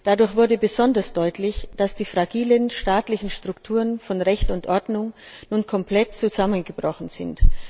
Dadurch wurde besonders deutlich, dass die fragilen staatlichen Strukturen von Recht und Ordnung nun komplett zusammengebrochen sind.